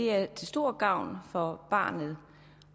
er til stor gavn for barnet